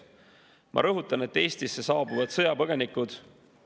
Ma rõhutan, et Eestisse saabuvad sõjapõgenikud ...